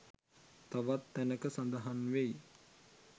තවත් තැනක සඳහන් වෙයි.